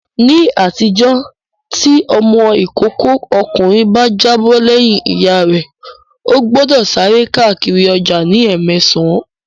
Ní àtijọ́, tí ọmọ ìkókó ọkùnrin bá jábọ̀ lẹ́yìn Ìyá rẹ, ó gbọ́dọ̀ sáré káàkiri ọjà ní ẹ́mẹsàn